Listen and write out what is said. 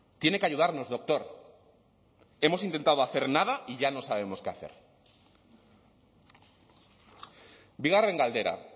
tiene que ayudarnos doctor hemos intentado hacer nada y ya no sabemos qué hacer bigarren galdera